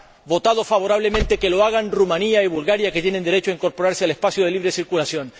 votado favorablemente que lo hagan Rumanía y Bulgaria, que tienen derecho a incorporarse al espacio de libre circulación.